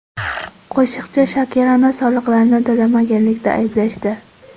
Qo‘shiqchi Shakirani soliqlarni to‘lamaganlikda ayblashdi.